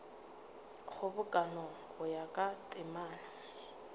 kgobokano go ya ka temana